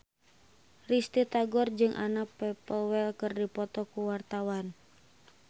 Risty Tagor jeung Anna Popplewell keur dipoto ku wartawan